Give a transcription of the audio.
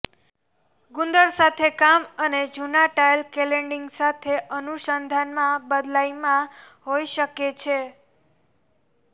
ગુંદર સાથે કામ અને જૂના ટાઇલ ક્લેડીંગ સાથે અનુસંધાનમાં બદલાય માં હોઈ શકે છે